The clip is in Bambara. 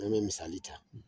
N'an bɛ misali ta